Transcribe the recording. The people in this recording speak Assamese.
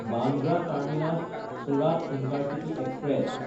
Bandra টাৰ্মিনাছ–চুৰাত intercity express